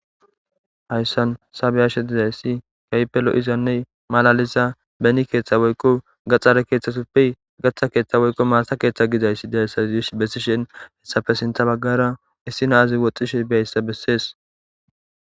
hayssan sabeyashe didayssi kaipelo izanne malaliza beni keeththa woykqo gaxxare keeththasuppey gaththa keeththa woyqo malta keeththa gidayssi dayssayish bessishen hessafe sinta baggara issinaazi woxxishe bayssa bessees